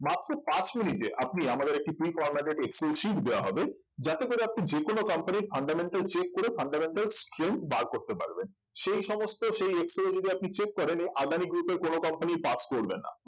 মাত্র পাঁচ মিনিটে আপনি আমাদের একটি free formated excel sheet দেয়া হবে যাতে করে আপনি যে কোন company র fundamental check করে fundamental strength বার করতে পারবেন সেই সমস্ত সেই excel এ যদি আপনি check করেন এই আদানি group এর কোনো company pass করবে না